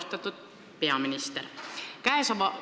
Väga austatud peaminister!